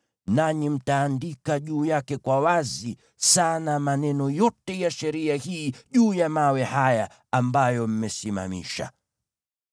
Nanyi mtaandika maneno yote ya sheria hii kwa wazi sana juu ya mawe haya ambayo mmesimamisha.”